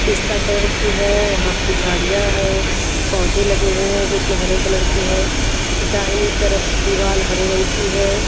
पिस्ता कलर की है वहाँ पे झाड़ियाँ है पौधे लगे हुए है जो कि हरे कलर के है दाएं तरफ दीवार हरे रंग की है।